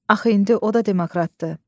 Axı indi o da demoktratdır.